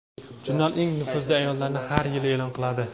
Jurnal eng nufuzli ayollarni har yili e’lon qiladi.